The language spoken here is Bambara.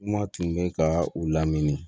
Kuma tun bɛ ka u lamini